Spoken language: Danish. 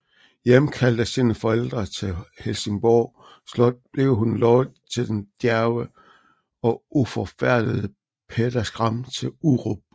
Hjemkaldt af sine forældre til Helsingborg Slot blev hun lovet til den djærve og uforfærdede Peder Skram til Urup